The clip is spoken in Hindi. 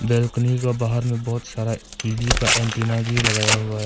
बालकनी के बाहर में बहुत सारा टी_वी का एंटीना भी लगाया हुआ है।